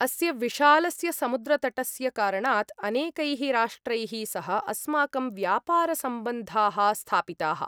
अस्य विशालस्य समुद्रतटस्य कारणात् अनेकैः राष्ट्रैः सह अस्माकं व्यापारसम्बन्धाः स्थापिताः।